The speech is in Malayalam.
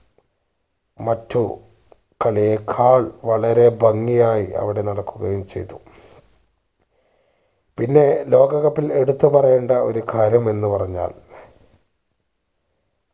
മറ്റു കളിയേക്കാൾ വളരെ ഭംഗിയായി അവിടെ നടക്കുകയും ചെയ്തു പിന്നെ ലോക cup ൽ എടുത്തുപറയേണ്ട ഒരു കാര്യം എന്ന് പറഞ്ഞാൽ